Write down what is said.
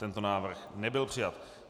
Tento návrh nebyl přijat.